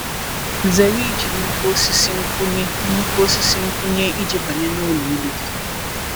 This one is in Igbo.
Zere iji nnukwu osisi nkwụnye nnukwu osisi nkwụnye iji banye n’ụlọ elu gị.